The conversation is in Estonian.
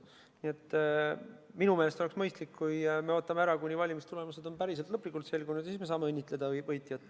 Nii et minu meelest oleks mõistlik, kui me ootaksime ära, kuni valimistulemused on lõplikult selgunud, siis me saame õnnitleda võitjat.